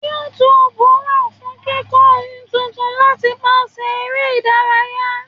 YouTube wa fún kíkó ohun tuntun látipàṣẹ ere ìdárayá.